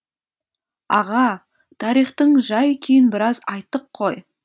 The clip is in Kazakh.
аға тарихтың жай күйін біраз айттық қой